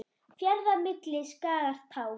Fjarða milli skagar tá.